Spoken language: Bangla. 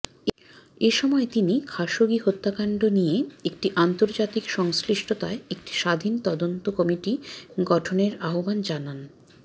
এসময় তিনি খাসোগি হত্যাকাণ্ড নিয়ে একটি আন্তর্জাতিক সংশ্লিষ্টতায় একটি স্বাধীন তদন্ত কমিটি গঠনের আহ্বানও জানান